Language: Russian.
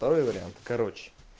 второй вариант короче